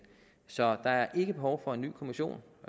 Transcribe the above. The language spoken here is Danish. så der er ikke behov for en ny kommission